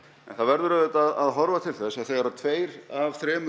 en það verður auðvitað að horfa til þess að þegar tveir af þremur